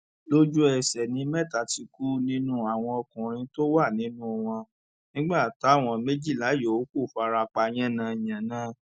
lójúẹsẹ ni mẹta ti kú nínú àwọn ọkùnrin tó wà nínú wọn nígbà táwọn méjìlá yòókù fara pa yánnayànna